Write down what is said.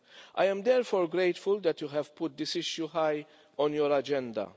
I am, therefore, grateful that you have put this issue high on your agenda.